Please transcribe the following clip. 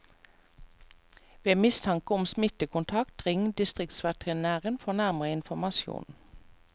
Ved mistanke om smittekontakt, ring distriktsveterinæren for nærmere informasjon.